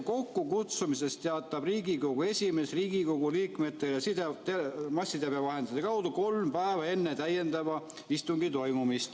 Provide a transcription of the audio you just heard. Kokkukutsumisest teatab Riigikogu esimees Riigikogu liikmetele massiteabevahendite kaudu vähemalt kolm päeva enne täiendava istungi toimumist.